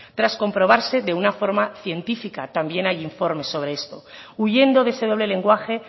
tan comprobarse de una forma científica también hay informes sobre esto huyendo de ese doble lenguaje